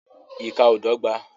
Ìkà ó dọ́gba